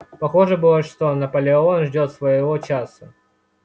похоже было что наполеон ждёт своего часа